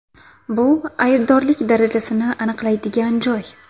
Bu aybdorlik darajasini aniqlaydigan joy.